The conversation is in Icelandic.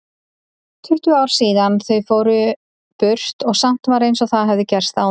Tuttugu ár síðan þau fóru burt og samt var einsog það hefði gerst áðan.